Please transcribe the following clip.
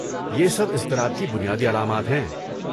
یہ سب اضطراب کی بنیادی علامات ہیں۔